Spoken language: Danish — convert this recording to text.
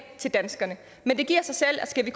til danskerne men det giver sig selv at skal vi